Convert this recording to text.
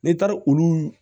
Ne taar olu